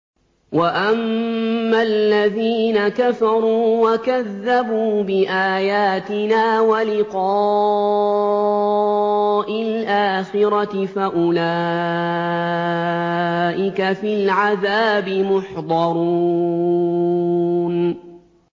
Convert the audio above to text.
وَأَمَّا الَّذِينَ كَفَرُوا وَكَذَّبُوا بِآيَاتِنَا وَلِقَاءِ الْآخِرَةِ فَأُولَٰئِكَ فِي الْعَذَابِ مُحْضَرُونَ